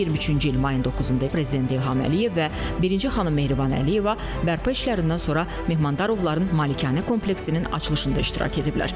2023-cü il mayın 9-da prezident İlham Əliyev və birinci xanım Mehriban Əliyeva bərpa işlərindən sonra Mehmandarovların malikanə kompleksinin açılışında iştirak ediblər.